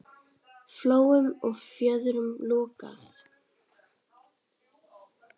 Flóum og fjörðum lokað.